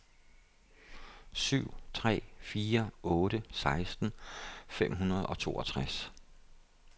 syv tre fire otte seksten fem hundrede og toogtres